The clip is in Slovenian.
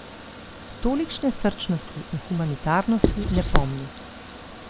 Tolikšne srčnosti in humanitarnosti ne pomni.